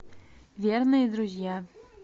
верные друзья